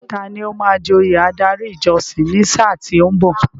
Tani ó máa joyè adarí ìjọsìn ní sáà tí ó ń bọ̀?